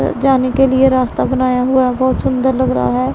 जाने के लिए रास्ता बनाया हुआ बहोत सुंदर लग रहा है।